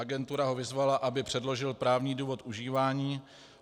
Agentura ho vyzvala, aby předložil právní důvod užívání.